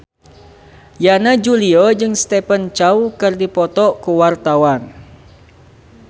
Yana Julio jeung Stephen Chow keur dipoto ku wartawan